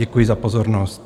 Děkuji za pozornost.